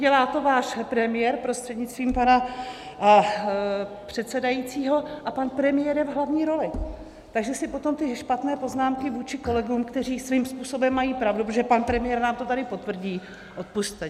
Dělá to váš premiér, prostřednictvím pana předsedajícího, a pan premiér je v hlavní roli, takže si potom ty špatné poznámky vůči kolegům, kteří svým způsobem mají pravdu, protože pan premiér nám to tady potvrdí, odpusťte.